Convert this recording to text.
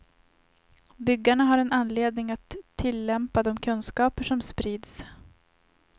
Byggarna har en anledning att tillämpa de kunskaper som sprids.